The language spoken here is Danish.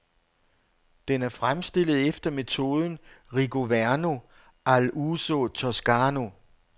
Den er fremstillet efter metoden rigoverno all uso toscano.